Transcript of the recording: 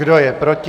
Kdo je proti?